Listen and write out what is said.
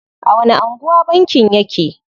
A wani anguwa bankin yake?